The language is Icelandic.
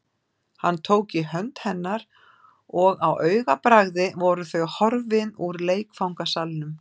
Hann tók í hönd hennar og á augabragði voru þau horfin úr leikfangasalnum.